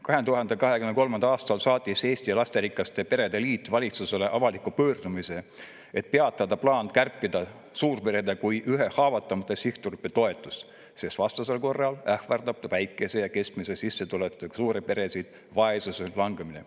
2023. aastal saatis Eesti Lasterikaste Perede Liit valitsusele avaliku pöördumise, et peatada plaan kärpida suurperede kui ühe haavatavama sihtgrupi toetust, sest vastasel korral ähvardab väikese ja keskmise sissetulekuga suuri peresid vaesusesse langemine.